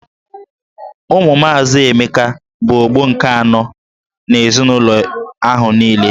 Ụmụ maazị Emeka bụ ọgbọ nke anọ n'ezinụlọ ahụ niile.